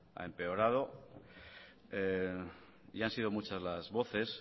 ha empeorado y han sido muchas las voces